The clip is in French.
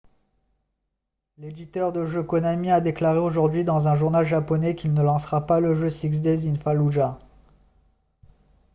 l'éditeur de jeux konami a déclaré aujourd'hui dans un journal japonais qu'il ne lancera pas le jeu six days in fallujah